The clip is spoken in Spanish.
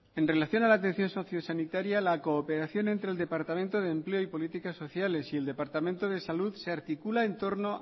en relación a la atención socio sanitaria la cooperación entre el departamento de empleo y política sociales y el departamento de salud se articula en torno